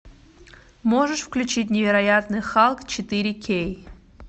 можешь включить невероятный халк четыре кей